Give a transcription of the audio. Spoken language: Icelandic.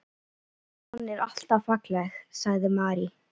Fjaran er alltaf falleg, sagði Mary.